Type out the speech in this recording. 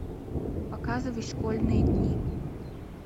показывай школьные дни